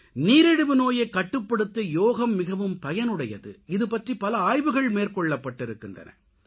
நீரிழிவு நோயைக் கட்டுப்படுத்த யோகம் மிகவும் பயனுடையது இது பற்றி பல ஆய்வுகள் மேற்கொள்ளப்பட்டிருக்கின்றன